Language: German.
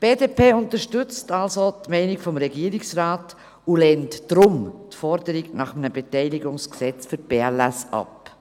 Die BDP unterstützt somit die Meinung des Regierungsrates und lehnt deshalb die Forderung nach einem Beteiligungsgesetz für die BLS AG ab.